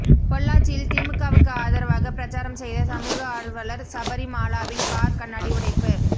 பொள்ளாச்சியில் திமுகவுக்கு ஆதரவாக பிரச்சாரம் செய்த சமூக ஆர்வலர் சபரி மாலாவின் கார் கண்ணாடி உடைப்பு